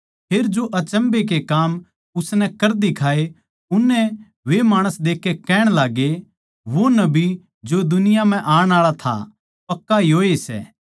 फेर जो अचम्भै के काम उसनै कर दिखाये उसनै वे माणस देखकै कहण लाग्गे वो नबी जो दुनिया म्ह आण आळा था पक्का योए सै